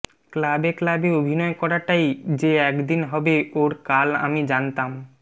ক্লাবে ক্লাবে অভিনয় করাটাই যে একদিন হবে ওর কাল আমি জানতাম